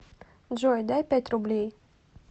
джой дай пять рублей